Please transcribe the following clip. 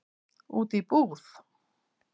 Út í búð?